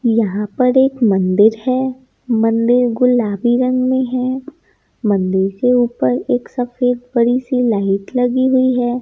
यहां पर एक मंदिर है मंदिर गुलाबी रंग में है मंदिर के ऊपर एक सफेद बड़ी सी लाइट लगी हुई है।